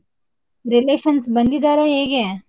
Relations ಬಂದಿದರಾ ಹೇಗೆ?